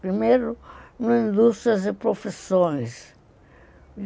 Primeiro em indústrias e profissões.